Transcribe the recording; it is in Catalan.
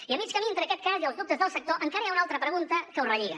i a mig camí entre aquest cas i els dubtes del sector encara hi ha una altra pregunta que ho relliga